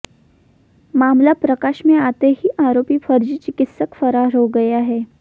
मामला प्रकाश में आते ही आरोपी फर्जी चिकित्सक फरार हो गया है